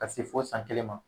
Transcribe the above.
Ka se fo san kelen ma